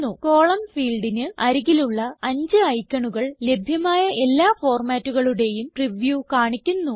column ഫീൽഡിന് അരികിലുള്ള അഞ്ച് ഐക്കണുകൾ ലഭ്യമായ എല്ലാ ഫോർമാറ്റുകളുടേയും പ്രിവ്യൂ കാണിക്കുന്നു